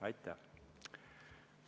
Aitäh!